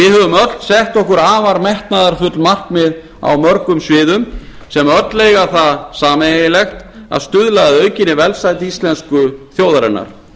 við höfum öll sett okkur afar metnaðarfull markmið á mörgum sviðum sem öll eiga það sameiginlegt að stuðla að aukinni velsæld íslensku þjóðarinnar